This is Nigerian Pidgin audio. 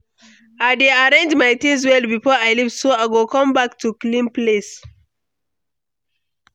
I dey arrange my things well before I leave, so I go come back to clean place.